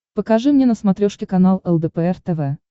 покажи мне на смотрешке канал лдпр тв